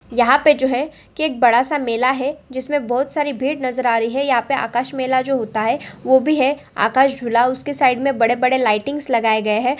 यह पे जो है कि एक बड़ा-सा मेला है जिसमें बहुत सारी भीड़ नज़र आ रही है यहॉं पे आकाश मेला जो होता है वो भी है आकाश झूला उसके साइड मे बड़े-बड़े लाइटिंग्स लगाए गए है।